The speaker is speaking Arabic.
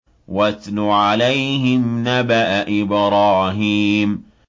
وَاتْلُ عَلَيْهِمْ نَبَأَ إِبْرَاهِيمَ